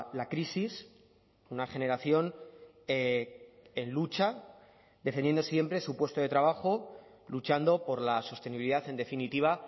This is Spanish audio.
la crisis una generación en lucha defendiendo siempre su puesto de trabajo luchando por la sostenibilidad en definitiva